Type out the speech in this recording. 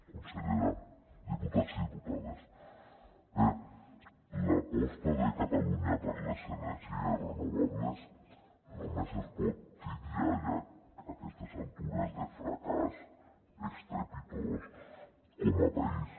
consellera diputats i diputades bé l’aposta de catalunya per les energies renovables només es pot titllar ja a aquestes altures de fracàs estrepitós com a país